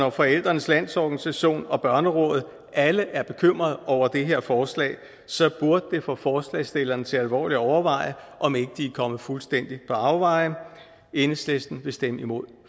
og forældrenes landsorganisation og børnerådet alle er bekymrede over det her forslag så burde det få forslagsstillerne til alvorligt at overveje om ikke de er kommet fuldstændig på afveje enhedslisten vil stemme imod